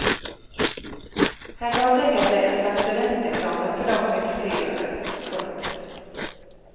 Här kan man tänka sig ett slags studentexamen för dem som är intresserade. punkt